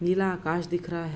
नीला आकाश दिख रहा है।